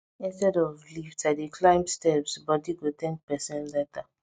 instead of lift i dey climb steps body go thank person later